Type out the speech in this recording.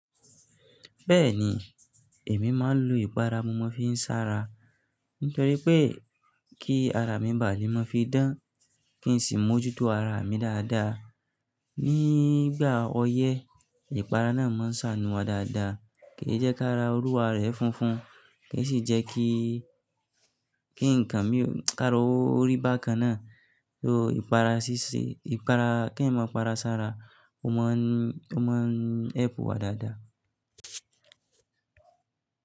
Bẹ́ẹ̀ni, èmi máa ń lo ìpara mo n fi ń sára. Nítorí pé kí ara mi bà ní mọ́ fi dán, kí n sì mójútó ara mi dáadáa. Ni ìgbà ọyẹ́, ìpara náà máa ń ṣàánú wa dáadáa, kì í jẹ́ kí ará orú wa rẹ̀ funfun, kì í sì jẹ́ kí, kí nǹkan mí ó kaara orí bákan náà. O ìpara ṣíṣe, ìpara, kí èèyàn máa para ṣára, ó máa ń, ó máa ń ẹ́pù wa dáadáa.